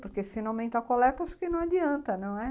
Porque se não aumentar a coleta, acho que não adianta, não é?